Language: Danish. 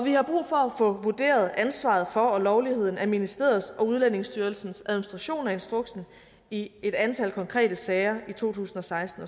få vurderet ansvaret for og lovligheden af ministeriets og udlændingestyrelsens administration af instruksen i et antal konkrete sager i to tusind og seksten